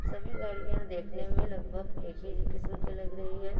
सभी गाड़ियां देखने मे लगभग एक ही किस्म की लग रही है।